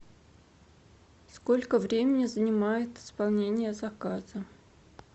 сколько времени занимает исполнение заказа